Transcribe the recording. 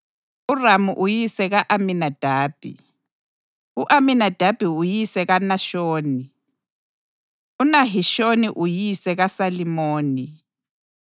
uRamu uyise ka-Aminadabi, u-Aminadabi uyise kaNashoni, uNahishoni uyise kaSalimoni,